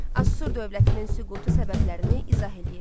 Asur dövlətinin süqutu səbəblərini izah eləyin.